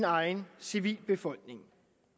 egne civilbefolkninger